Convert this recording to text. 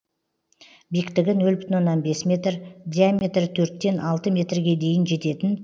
биіктігі нөл бүтін оннан бес метр диаметрі төрттен алты метрге дейін жететін